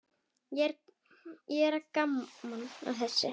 Það er gaman að þessu.